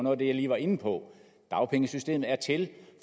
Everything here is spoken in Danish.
af det jeg lige var inde på dagpengesystemet er til